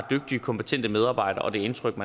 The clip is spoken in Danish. kompetente medarbejdere og indtrykket